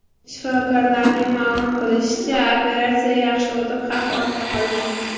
Shifokorlarning ma’lum qilishicha, operatsiya yaxshi o‘tib, xavf ortda qolgan.